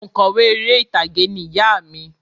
Oǹkọ̀wé eré ìtàgé ni ìyá à mi